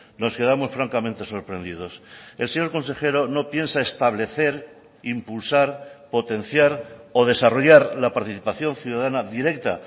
nos quedamos francamente sorprendidos el señor consejero no piensa establecer impulsar potenciar o desarrollar la participación ciudadana directa